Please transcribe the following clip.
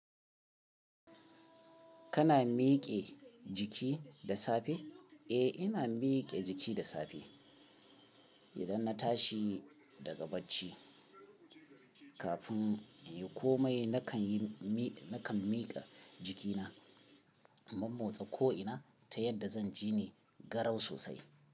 Kana miƙe jiki da safe? Eh, ina miƙe jiki da safe. Idan na tashi daga bacci kafin in yi komai nakan iyi nakan yi miƙe jikina, in mammotse ko'ina ta yadda zan ji ne garau sosai.